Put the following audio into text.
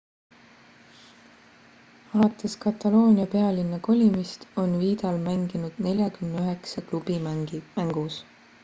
alates kataloonia pealinna kolimist on vidal mänginud 49 klubi mängus